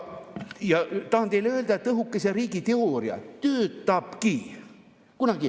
Ma tahan teile öelda, et õhukese riigi teooria töötabki.